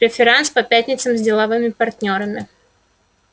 преферанс по пятницам с деловыми партнёрами